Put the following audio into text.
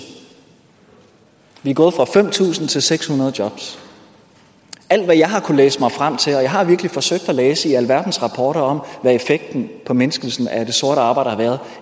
vi er gået fra fem tusind til seks hundrede jobs alt hvad jeg har kunnet læse mig frem til og jeg har virkelig forsøgt at læse i alverdens rapporter om hvad effekten formindskelsen af det sorte arbejde har været